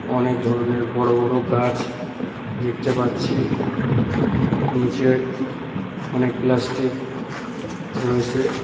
অনেক ধরণের বড় বড় গাছ দেখতে পাচ্ছি নীচে অনেক প্লাস্টিক রয়েছে।